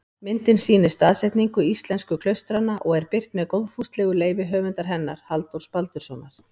Myndin sýnir staðsetningu íslensku klaustranna og er birt með góðfúslegu leyfi höfundar hennar, Halldórs Baldurssonar.